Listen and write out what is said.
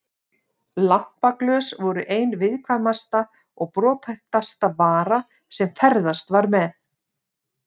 Lampaglös voru ein viðkvæmasta og brothættasta vara sem ferðast var með.